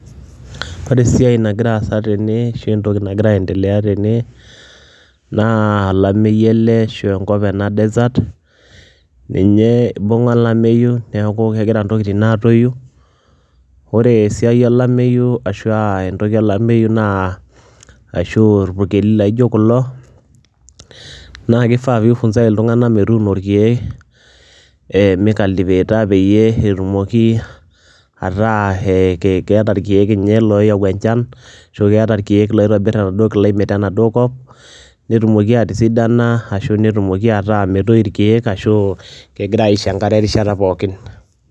Ore esiai nagira aasa tene ashu entoki nagira aiendelea tene naa olameyu ele ashu enkop ena desert, ninye ibung'a olameyu neeku kegira ntokitin aatoyu. Ore esiai olameyu ashu a entoki olameyu naa ashu a irpukeli laijo kulo naake ifaa piifunzai iltung'anak metuuno irkeek ee micultivator peyie etumoki ataa ke keeta irkeek nye looyau enchan ashu keeta irkeek loitobir enaduo climate ena duo kop netumoki atisidana ashu netumoki ataa metoyu irkeek ashu kegirai aisho enkare erishata pookin.